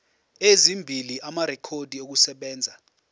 ezimbili amarekhodi okusebenza